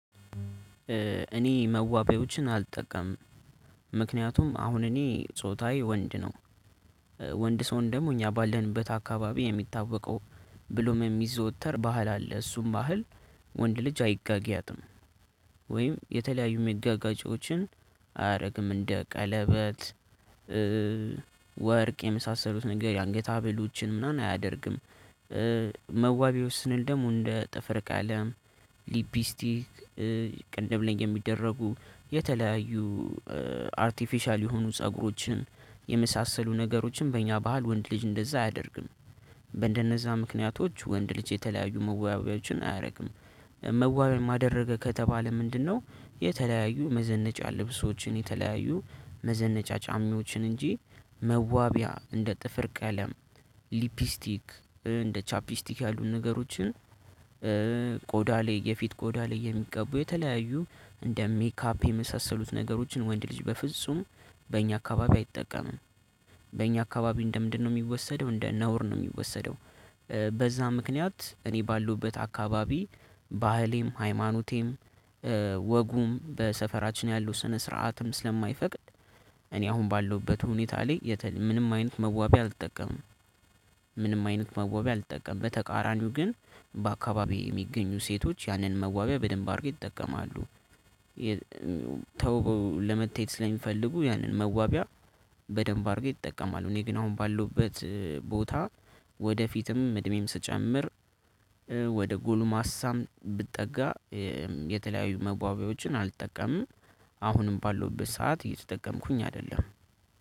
እኔ መዋቢያዎችን አልጠቀምም ምክንያቱም አሁን እኔ ጾታዬ ወንድ ነው። ወንድ ሰው ደግሞ እኛ ባልንበት አካባቢ የሚታወቀው ብሎም የሚዘወተር ባህል አለ እሱም ባህል ወንድ ልጅ አይጋጊያትም ወይም የተለያዩ መጋጋጫዎችን አያረግም እንደ ቀለበት ወርቅ የመሳሰሉት ነገር የአንገታዠተሰ ሀብሎችን ምናምን አያደርግም። መዋቢው ስንል ደሙ እንደ ጥፍር ቀለም ሊፕስቲክ ቅድም ላይ የሚደረጉ የተለያዩ አርቲፊሻል የሆኑ ፀጉሮችን የመሳሰሉ ነገሮችን በእኛ ባህል ወንድ ልጅ እንደዛ አያደርግም። በእንደነዛ ምክንያቶች ወንድ ልጅ የተለያዩ መዋቢያዎችን አያደርግም። መዋቢያም አደረገ ከተባለ ምንድነው? የተለያዩ መዘነጫ ልብሶችን የተለያዩ መዘነጫ ጫማዎችን እንጂ መዋቢያ እንደ ጥፍር ቀለም ሊፕስቲክ እንደ ቻፕስቲክ ያሉን ነገሮችን ቆዳ ላይ የፊት ቆዳ ላይ የሚቀቡ የተለያዩ እንደ ሜካፕ የመሳሰሉት ነገሮችን ወንድ ልጅ በፍጹም በእኛ አካባቢ አይጠቀምም። በእኛ አካባቢ እንደምንድነው የሚወሰደው እንደ ነውር ነው የሚወሰደው። በዛ ምክንያት እኔ ባለውበት አካባቢ ባህሌም ሃይማኖቴም ወጉም በሰፈራችን ያለው ስነ ስርዓትም ስለማይፈቅድ። እኔ አሁን ባለሁበት ሁኔታ ላይ ምንም አይነት መዋቢያ አልጠቀምም። ምንም አይነት መዋቢያ አልጠቀምም በተቃራኒው ግን በአካባቢው የሚገኙ ሴቶች ያንን መዋቢያ በደንብ አድርገው ይጠቀማሉ። ተውበው ለመታየት ስለሚፈልጉ ያንን መዋቢያ በደንብ አድርገው ይጠቀማሉ። እኔ ግን አሁን ባለውበት ቦታ ወደፊትም እድሜም ስጨምር ወደ ጎሉ ማሳም ብጠጋ የተለያዩ መዋቢያዎችን አልጠቀምም። አሁንም ባለውበት ሰዓት እየተጠቀምኩኝ አይደለም